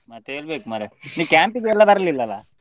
ಮತ್ತೆ ಹೇಳ್ಬೇಕು ಮಾರ್ರೆ ನೀ camp ಗೆಲ್ಲ ಬರ್ಲಿಲ್ಲಲ್ಲ.